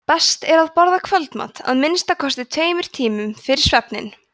best er að borða kvöldmat að minnsta kosti tveimur tímum fyrir svefninn